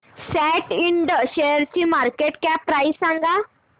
सॅट Ind शेअरची market cap price सांगा